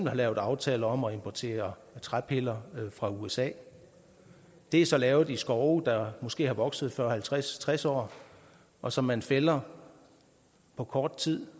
har lavet aftaler om at importere træpiller fra usa det er så lavet i skove der måske har vokset i fyrre halvtreds tres år og som man fælder på kort tid